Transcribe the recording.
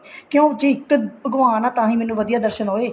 ਕਿਉਂਕਿ ਇੱਕ ਭਗਵਾਨ ਆ ਤਾਹੀਂ ਮੈਨੂੰ ਵਧੀਆ ਦਰਸ਼ਨ ਹੋਏ